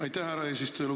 Aitäh, härra eesistuja!